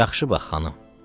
Yaxşı bax xanım.